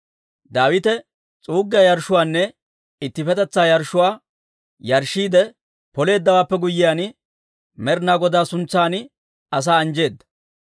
Daawite s'uuggiyaa yarshshuwaanne ittippetetsaa yarshshuwaa yarshshiide Poleeddawaappe guyyiyaan, Med'inaa Godaa suntsan asaa anjjeedda.